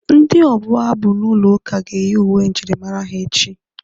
Ndị ọbụ abụ n'ụlọ ụka ga-eyi uwe njirimara echi.